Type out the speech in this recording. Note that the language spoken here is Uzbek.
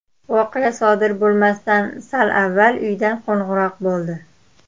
Voqea sodir bo‘lmasdan sal avval uydan qo‘ng‘iroq bo‘ldi.